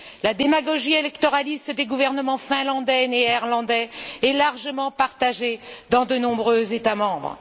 La démagogie électoraliste des gouvernements finlandais et néerlandais est largement partagée dans de nombreux États membres.